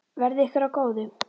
Verði ykkur að góðu.